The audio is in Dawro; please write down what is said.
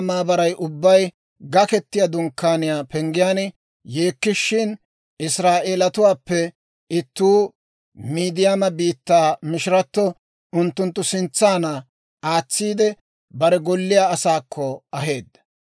Musenne Israa'eeliyaa maabaray ubbay Gaketiyaa Dunkkaaniyaa penggiyaan yeekkishin, Israa'eelatuwaappe ittuu Midiyaama biittaa mishirato unttunttu sintsanna aatsiide, bare golliyaa asaakko aheedda.